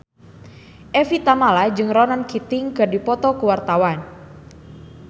Evie Tamala jeung Ronan Keating keur dipoto ku wartawan